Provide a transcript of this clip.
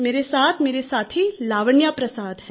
मेरे साथ मेरी साथी लावण्या प्रसाद है